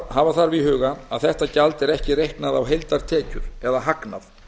hafa þarf í huga að þetta gjald er ekki reiknað á heildartekjur eða hagnað